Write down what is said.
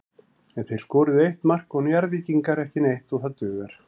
En þeir skoruðu eitt mark og Njarðvíkingar ekki neitt og það dugar.